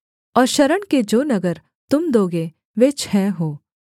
और शरण के जो नगर तुम दोगे वे छः हों